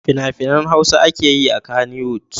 Fina-finan Hausa ake yi a Kannywood.